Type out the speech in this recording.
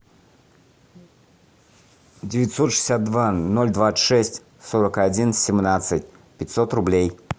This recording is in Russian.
девятьсот шестьдесят два ноль двадцать шесть сорок один семнадцать пятьсот рублей